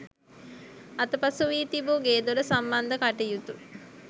අතපසු වී තිබූ ගේදොර සම්බන්ධ කටයුතු